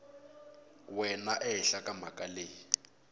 wena ehenhla ka mhaka leyi